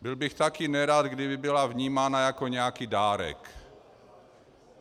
Byl bych také nerad, kdyby byla vnímána jako nějaký dárek.